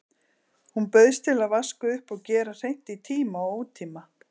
Hún bauðst til að vaska upp og gera hreint í tíma og ótíma.